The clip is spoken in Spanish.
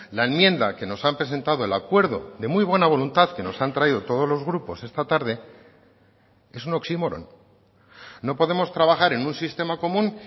la enmienda que nos han presentado el acuerdo de muy buena voluntad que nos han traído todos los grupos esta tarde es un oxímoron no podemos trabajar en un sistema común